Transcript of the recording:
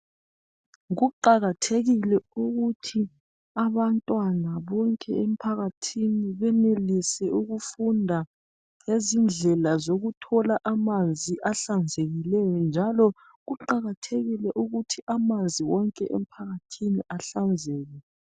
Kuqakathekile ukuthi abantwana bonke emphakathini benelise ukufunda ngezindlela zokuthola amanzi ahlanzekileyo njalo kuqakathekile ukuthi amanzi yonke emphakathini ahlanzeke.